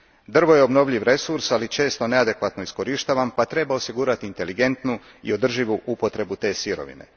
Drvo je obnovljivi resurs, ali često neadekvatno iskorištavan pa treba osigurati inteligentnu i održivu upotrebu te sirovine.